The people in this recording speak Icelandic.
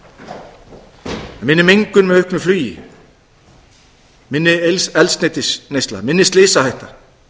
er minni mengun með auknu flugi minni eldsneytisneysla minni slysahætta